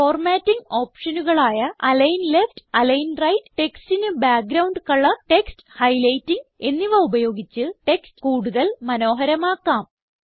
formatting ഓപ്ഷനുകളായ align left align right ടെക്സ്റ്റിന് background colour text highlighting എന്നിവ ഉപയോഗിച്ച് ടെക്സ്റ്റ് കൂടുതൽ മനോഹരമാക്കാം